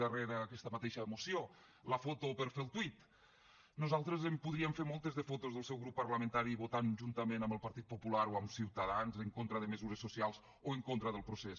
darrere aquesta mateixa moció la foto per fer el tuit nosaltres en podríem fer moltes de fotos del seu grup parlamentari votant juntament amb el partit popular o amb ciutadans en contra de mesures socials o en contra del procés